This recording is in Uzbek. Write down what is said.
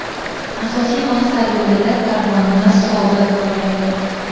asosiy maqsad yo‘lida karvonimiz sobit borayotir.